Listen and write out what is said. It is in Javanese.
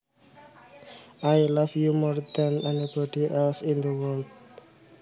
I love you more than anybody else in the world